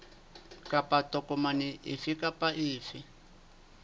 kapa tokomane efe kapa efe